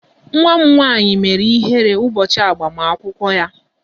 Nwa m nwaanyị mere ihere n'ụbọchị agbamakwụkwọ ya.